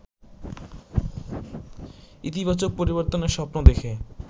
ইতিবাচক পরিবর্তনের স্বপ্ন দেখে